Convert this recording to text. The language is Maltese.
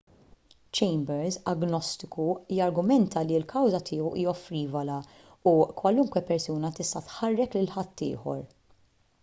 chambers agnostiku jargumenta li l-kawża tiegħu hija frivola u kwalunkwe persuna tista' tħarrek lil ħaddieħor